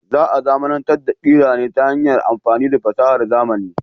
Za a zamanantar da kira ne ta hanyar amfani da fasahar zamani.